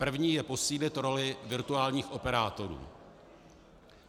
První je posílit roli virtuálních operátorů.